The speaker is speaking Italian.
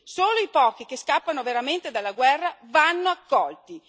Solo i pochi che scappano veramente dalla guerra vanno accolti.